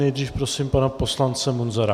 Nejdřív prosím pana poslance Munzara.